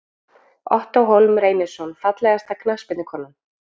Ottó Hólm Reynisson Fallegasta knattspyrnukonan?